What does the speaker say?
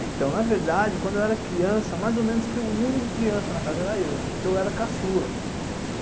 Então, na verdade, quando eu era criança, mais ou menos que o único criança na casa era eu, né, porque eu era caçula.